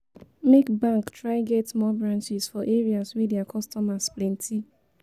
make bank try get more branches for areas wey dia kostomers plenti